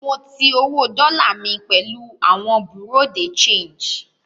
Mo ti owó dọ́là mi pẹ̀lú àwọn Bureau de change